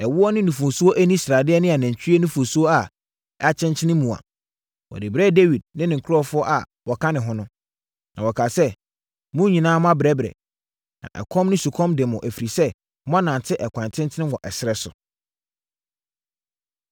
ɛwoɔ ne nufosuo ani sradeɛ ne anantwie nufosuo a akyenkyene mua. Wɔde brɛɛ Dawid ne ne nkurɔfoɔ a wɔka ne ho no. Na wɔkaa sɛ, “Mo nyinaa moabrɛbrɛ, na ɛkɔm ne sukɔm de mo ɛfiri sɛ moanante ɛkwan tenten wɔ ɛserɛ so.”